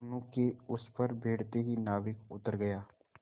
दोेनों के उस पर बैठते ही नाविक उतर गया